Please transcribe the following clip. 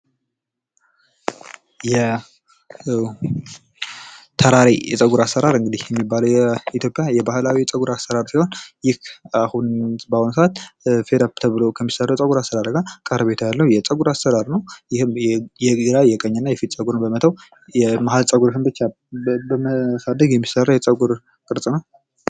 የተራሬ የሚባለዉ የፀጉር አሰራር የኢትዮጵያ የባህላዊ የፀጉር አሰራር ሲሆን ይህ በአሁኑ ሰዓት ፌራሪ ከሚባለዉ የፀጉር አሰራር ጋር ቀረቤታ ያለዉ የፀጉር አሰራር የግራና የቀኝ የፊት ፀጉር በመተዉ የመሀል ፀጉርን ብቻ በማሳደግ የሚሰራ የፀጉር ቅርፅ ነዉ።